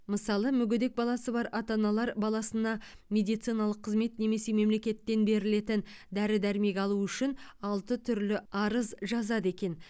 мысалы мүгедек баласы бар ата аналар баласына медициналық қызмет немесе мемлекеттен берілетін дәрі дәрмек алу үшін алты түрлі арыз жазады екен